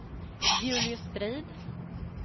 Julius Strid